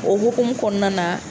O hokumu kɔnɔna na.